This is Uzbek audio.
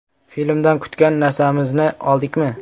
Filmdan kutgan narsamizni oldikmi?